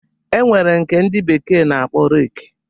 E nwere nke ndị bekee na-akpọ reki.